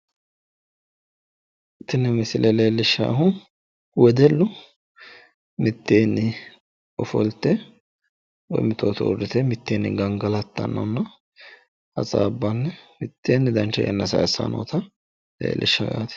Tini misile leellishshaahu wedellu mitteenni ofolte mitootu uurrite mitteenni gangalattannonna hasaabbanni mitteenni dancha yanna sayisayi noota leellishshawo yaate.